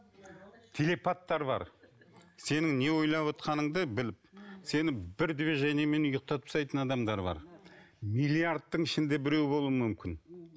телепаттар бар сенің не ойлап отырғаныңды біліп сені бір движениемен ұйықтатып тастайтын адамдар бар миллиардтың ішінде біреу болуы мүмкін